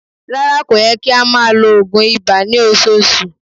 Rárá, kò yẹ kí a máa lo oògùn iba ní ọṣọọṣù.